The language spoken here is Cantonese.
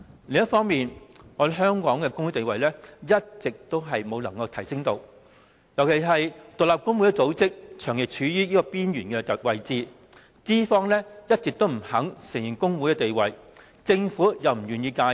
另一方面，香港的工會地位一直無法提升，尤其是獨立工會組織長期處於邊緣位置，資方一直不肯承認工會的地位，政府又不願意介入。